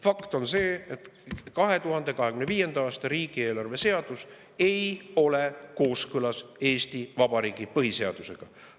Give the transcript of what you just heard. Fakt on see, et 2025. aasta riigieelarve seadus ei ole kooskõlas Eesti Vabariigi põhiseadusega.